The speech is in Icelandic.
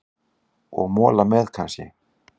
Og mola með, kannski?